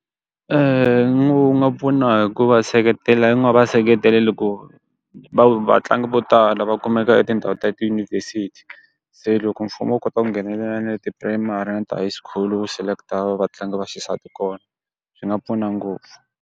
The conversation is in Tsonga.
nga pfuna hi ku va seketela va seketela loko va tlangi vo tala va kumeka etindhawu ta tiyunivhesiti. Se loko mfumo wu kota ku nghenelela na ti-primary na ti-high school wu select-a va va tlangi va xisati kona. Swi nga pfuna ngopfu.